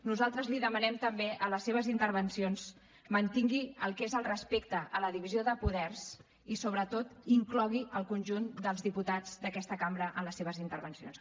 nosaltres li demanem també a les seves intervencions mantingui el que és el respecte a la divisió de poders i sobretot inclogui el conjunt dels diputats d’aquesta cambra en les seves intervencions